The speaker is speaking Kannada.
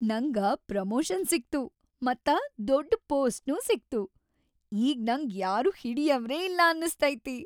ನಂಗ ಪ್ರಮೋಷನ್‌ ಸಿಕ್ತು ಮತ್ತ ದೊಡ್ಡ್‌ ಪೋಸ್ಟ್ನೂ ಸಿಗ್ತು, ಈಗ್ ನಂಗ್ ಯಾರೂ ಹಿಡಿಯವ್ರೇ ಇಲ್ಲ ಅನ್ನ‌ಸ್ತೈತಿ.